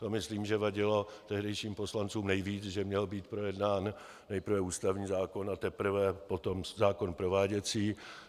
To myslím, že vadilo tehdejším poslancům nejvíc, že měl být projednán nejprve ústavní zákon, a teprve potom zákon prováděcí.